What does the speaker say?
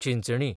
Chinchani